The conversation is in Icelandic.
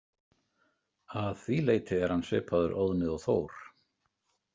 Að því leyti er hann svipaður Óðni og Þór.